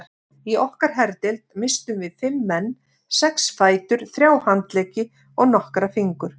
Í okkar herdeild misstum við fimm menn, sex fætur, þrjá handleggi og nokkra fingur.